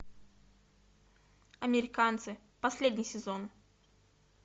американцы последний сезон